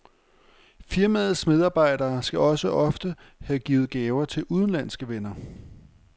Firmaets medarbejdere skal også ofte have givet gaver til udenlandske venner.